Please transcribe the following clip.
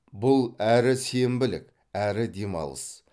бұл әрі сенбілік әрі демалыс